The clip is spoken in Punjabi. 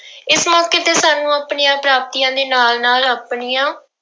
ਇਸ ਮੌਕੇ ਤੇ ਸਾਨੂੰ ਆਪਣੀਆਂ ਪ੍ਰਾਪਤੀਆਂ ਦੇ ਨਾਲ ਨਾਲ ਆਪਣੀਆਂ